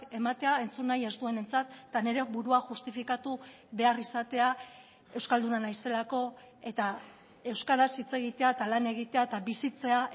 ematea entzun nahi ez duenentzat eta nire burua justifikatu behar izatea euskalduna naizelako eta euskaraz hitz egitea eta lan egitea eta bizitzea